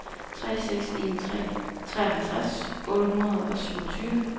tre seks en tre treoghalvtreds otte hundrede og syvogtyve